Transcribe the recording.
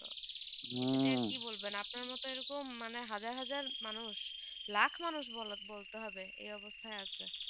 হম আপনার মতুন এইরকম হাজার হাজার মানুষ লাখ মানুষ বলতে হবে এই অবস্থায় আছে